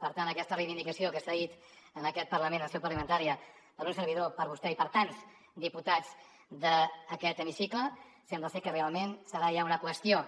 per tant aquesta reivindicació que s’ha dit en aquest parlament en seu parlamentària per un servidor per vostè i per tants diputats d’aquest l’hemicicle sembla que realment serà ja una qüestió